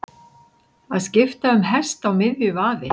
Að skipta um hest á miðju vaði